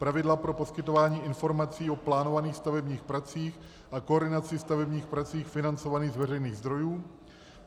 Pravidla pro poskytování informací o plánovaných stavebních pracích a koordinaci stavebních prací financovaných z veřejných zdrojů.